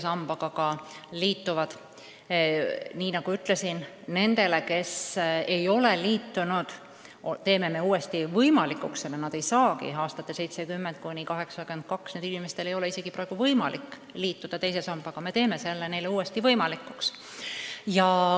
Nagu ma ütlesin, nendel, kes ei ole liitunud – need on perioodil 1970–1982 sündinud –, ei ole praegu võimalik teise sambaga liituda, aga me teeme selle neile võimalikuks.